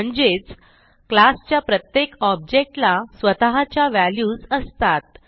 म्हणजेच क्लास च्या प्रत्येक ऑब्जेक्ट ला स्वतःच्या व्हॅल्यूज असतात